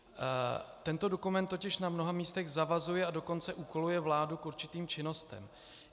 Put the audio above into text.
Tento dokument totiž na mnoha místech zavazuje, a dokonce úkoluje vládu k určitým činnostem.